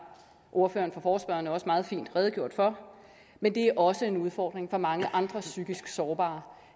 ordføreren for forespørgerne også meget fint redegjort for men det er også en udfordring for mange andre psykisk sårbare